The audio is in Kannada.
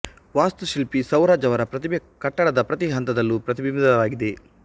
ವಾಸ್ತುಶಿಲ್ಪಿ ಸೌರಾಜ್ ಅವರ ಪ್ರತಿಭೆ ಕಟ್ಟಡದ ಪ್ರತಿ ಹಂತದಲ್ಲೂ ಪ್ರತಿಬಿಂಬಿತವಾಗಿದೆ